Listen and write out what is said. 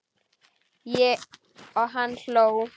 Og hann hló.